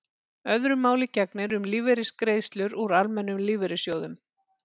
öðru máli gegnir um lífeyrisgreiðslur úr almennum lífeyrissjóðum